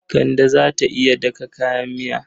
Kande ta iya daka kayan miya.